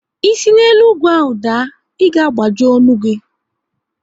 Ị si na elu ugwu ahụ daa, ị ga agbaji ọnụ gị!